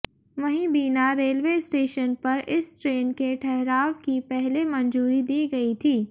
वहीं Bina railway station पर इस ट्रेन के ठहराव की पहले मंजूरी दी गई थी